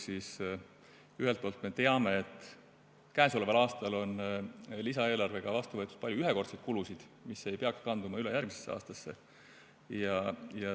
Ühelt poolt me teame, et käesoleval aastal on lisaeelarvega vastu võetud palju ühekordseid kulutusi, mis ei peaks kanduma üle järgmisesse aastasse.